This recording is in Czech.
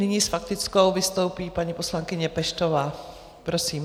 Nyní s faktickou vystoupí paní poslankyně Peštová, prosím.